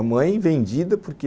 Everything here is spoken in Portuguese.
A mãe, vendida, porque...